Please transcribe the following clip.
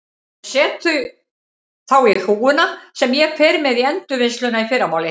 Ég set þau þá í hrúguna sem ég fer með í endurvinnsluna í fyrramálið.